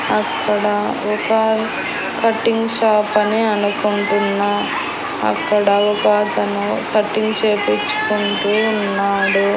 అక్కడ ఒక cutting shop అని అనుకుంటున్నా అక్కడ ఒకతను కటింగ్ చేపించుకుంటూ ఉన్నాడు.